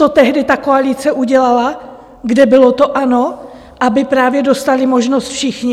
To tehdy ta koalice udělala, kde bylo to ANO, aby právě dostali možnost všichni.